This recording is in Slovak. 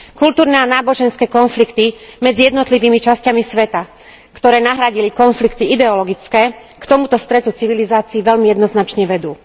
Kultúrne a náboženské konflikty medzi jednotlivými časťami sveta, ktoré nahradili konflikty ideologické, k tomuto stretu civilizácií veľmi jednoznačne vedú.